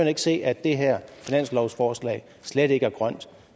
ikke se at det her finanslovsforslag slet ikke er grønt